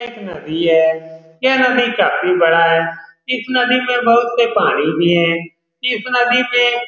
यह एक नदी है यह नदी काफी बड़ा है इस नदी में बहुत सा पानी भी हैं इस नदी में --